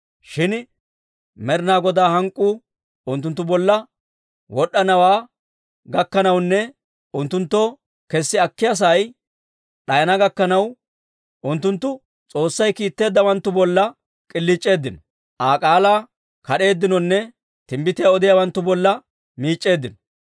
Shin Med'inaa Godaa hank'k'uu unttunttu bolla wod'd'anawaa gakkanawunne unttunttoo kessi akkiyaa sa'ay d'ayana gakkanaw, unttunttu S'oossay kiitteeddawanttu bolla k'iliic'eeddino, Aa k'aalaa kad'eeddinonne timbbitiyaa odiyaawanttu bolla miic'c'eeddino.